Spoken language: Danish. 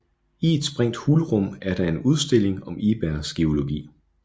I et sprængt hulrum er der en udstilling om Ibergs geologi